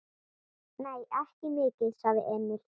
Nei, ekki mikið, sagði Emil.